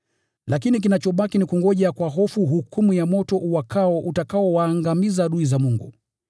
Lakini kinachobaki ni kungoja kwa hofu hukumu ya moto uwakao, utakaowaangamiza adui za Mungu.